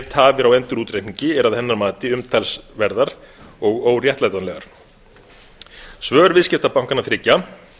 tafir á endurútreikningi eru að hennar mati umtalsverðar og óréttlætanlegar svör viðskiptabankanna þriggja